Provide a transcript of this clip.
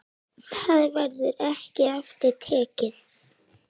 Það verður ekki aftur tekið.